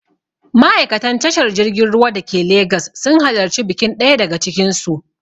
Ma'aikatan tashar jirgin ruwa dake Legas sun halarci bikin ɗaya daga cikin su.